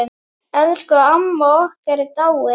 Elsku amma okkar er dáin.